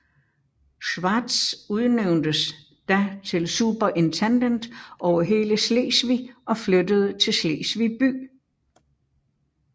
Schwartz udnævntes da til superintendent over hele Slesvig og flyttede til Slesvig by